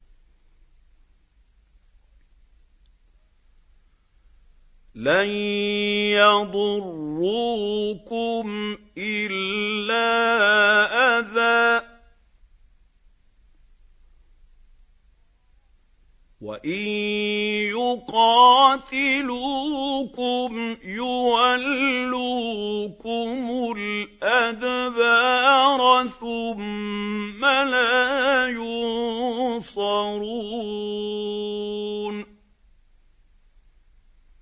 لَن يَضُرُّوكُمْ إِلَّا أَذًى ۖ وَإِن يُقَاتِلُوكُمْ يُوَلُّوكُمُ الْأَدْبَارَ ثُمَّ لَا يُنصَرُونَ